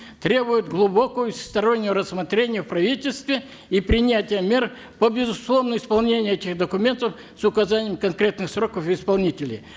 требует глубокого и всестороннего рассмотрения в правительстве и принятия мер по безусловному исполнению этих документов с указанием конкретных сроков и исполнителей